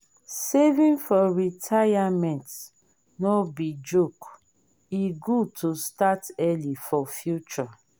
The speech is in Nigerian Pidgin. saving for retirement no be joke e good to start early for future.